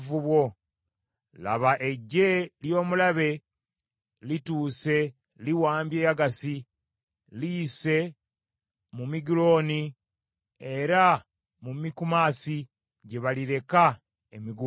Laba eggye ly’omulabe lituuse liwambye Yagasi, liyise mu Migulooni, era mu Mikumasi gye balireka emigugu gyabwe.